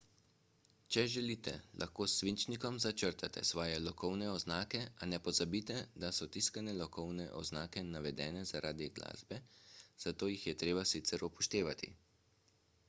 če želite lahko s svinčnikom začrtate svoje lokovne oznake a ne pozabite da so tiskane lokovne oznake navedene zaradi glasbe zato jih je treba sicer upoštevati